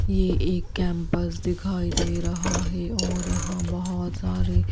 यह एक कैंपस दिखाई दे रहा है और यहां बहुत सारी--